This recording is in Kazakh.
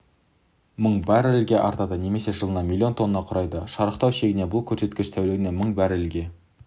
мың баррельге артады немесе жылына миллион тоннаны құрайды шарықтау шегінде бұл көрсеткіш тәулігіне мың баррельге